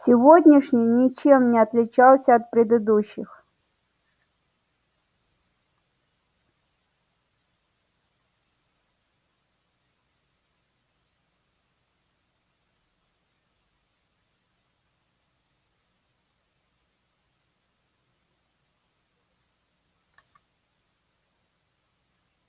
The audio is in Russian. сегодняшний ничем не отличался от предыдущих